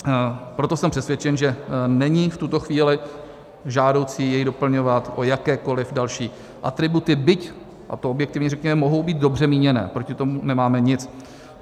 Proto jsem přesvědčen, že není v tuto chvíli žádoucí jej doplňovat o jakékoliv další atributy, byť, a to objektivně řekněme, mohou být dobře míněné, proti tomu nemáme nic.